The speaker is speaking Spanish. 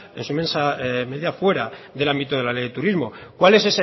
en su inmensa medida fuera del ámbito de la ley de turismo cuál es